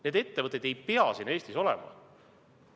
Need ettevõtted ei pea siin Eestis olema.